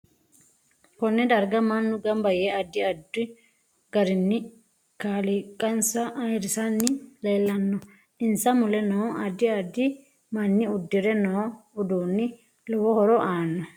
KOnee darga mannu ganba yee addi addu garinni kaaliqansa ayiirisanni leelanno insa mule noo addi addi manni uddire noo uduuni lowo horo aanno